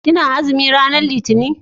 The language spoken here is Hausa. ki na azumi ranar litani?